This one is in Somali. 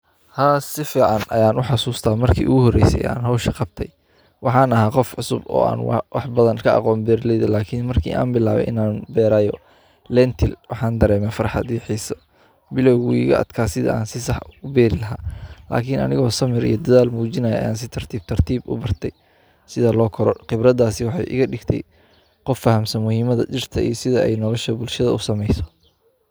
Haa si fican ayan oga xasusta marki u horeyse an howshan qabte waxan aha qof cusub oo beera leyda aa waxba ka aqonin beera leyda lakin markan bilawe bero linta waxan bilawe farxaad iyo xiso bilawgeyga adkay ee san u beeri lahay lakin aniga hormar iyo dadhal mujinayo ayan si tartib ah u barte sitha lo koro qibradasi waxee iga digte muhiim iyo sithe nolasha beerta.